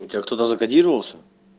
у тебя кто-то закодировался